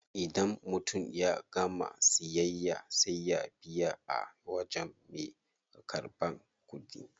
Idan mutum ya gama siyayya sai ya biya a wajen me karban kudi.